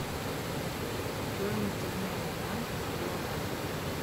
стоимость обмена франка на гуарани